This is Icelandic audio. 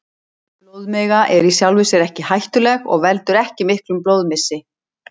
Blóðmiga er í sjálfu sér ekki hættuleg og veldur ekki miklum blóðmissi.